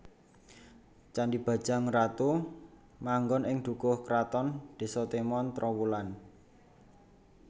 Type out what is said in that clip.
Candhi Bajang Ratu manggon ing Dukuh Kraton Désa Temon Trowulan